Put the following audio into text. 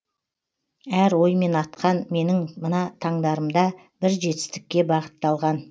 әр оймен атқан менің мына таңдарымда бір жетістікке бағыталған